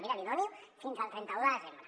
miri li dono fins al trenta un de desembre